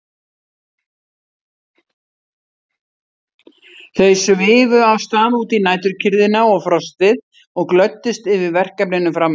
Þau svifu af stað út í næturkyrrðina og frostið og glöddust yfir verkefninu framundan.